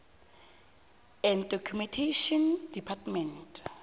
and documentation department